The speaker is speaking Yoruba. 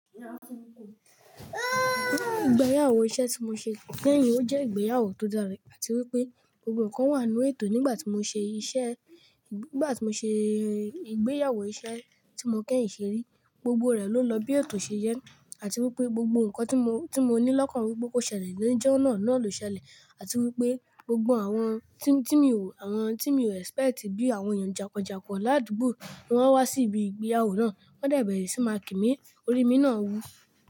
Ìgbéyàwó iṣẹ́ tí mo ṣe kẹ́yìn ó jẹ́ ìgbéyàwó tó dára àti wípé gbogbo ǹkan wà nínú ètò nígbà tí mo ṣe iṣẹ́, nígbà tí mo ṣe ìgbéyàwó iṣẹ́ tí mo kẹ́yìn ṣe rí, gbogbo rẹ̀ ló lọ bí ètò ṣe jẹ́ àti wípé gbogbo ǹkan tí mo, tí mo ní lọ́kàn wípé kó ṣẹlẹ̀ ló jọ́ náà ló ṣẹlẹ̀ àti wípé gbogbo àwọn tí mi ò, àwọn tí mi ò expect bí àwọn èèyàn jànkanjànkan ládùúgbò, wọ́n wá sí ibi ìgbéyàwó náà, wọ́n de bẹ̀rẹ̀ sí máa kí mi, orí mi náà wú.